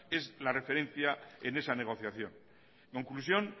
es la referencia en esa negociación conclusión